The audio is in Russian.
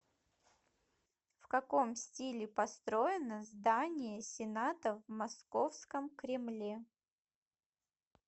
в каком стиле построено здание сената в московском кремле